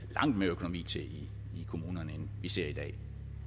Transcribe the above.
langt mere økonomi til i kommunerne end vi ser i dag